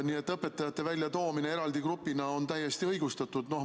Nii et õpetajate väljatoomine eraldi grupina on täiesti õigustatud.